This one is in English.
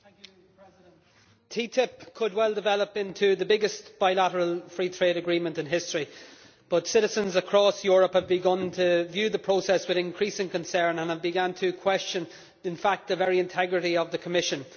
Mr President, TTIP could well develop into the biggest bilateral free trade agreement in history, but citizens across Europe have begun to view the process with increasing concern and have in fact begun to question the very integrity of the Commission.